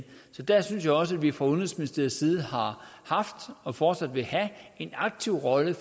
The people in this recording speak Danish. der synes jeg også at vi fra udenrigsministeriets side har haft og fortsat vil have en aktiv rolle i